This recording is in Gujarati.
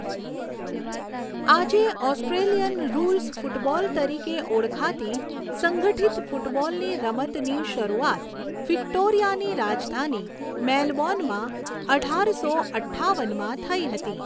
આજે ઓસ્ટ્રેલિયન રૂલ્સ ફૂટબોલ તરીકે ઓળખાતી સંગઠિત ફૂટબોલની રમતની શરૂઆત વિક્ટોરિયાની રાજધાની મેલબોર્નમાં અઢારસો અઠ્ઠાવનમાં થઈ હતી.